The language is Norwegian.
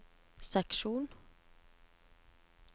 seksjon